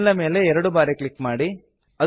ಮೇಲ್ ನ ಮೇಲೆ ಎರಡು ಬಾರಿ ಕ್ಲಿಕ್ ಮಾಡಿ